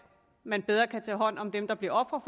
man bedre kan tage hånd om dem der bliver ofre